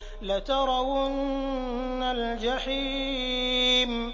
لَتَرَوُنَّ الْجَحِيمَ